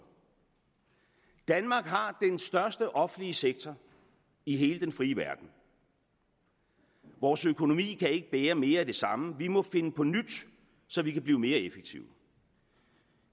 danmark har den største offentlige sektor i hele den frie verden vores økonomi kan ikke bære mere af det samme vi må finde på nyt så vi kan blive mere effektive